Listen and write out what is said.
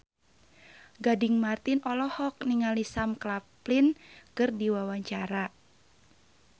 Gading Marten olohok ningali Sam Claflin keur diwawancara